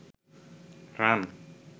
run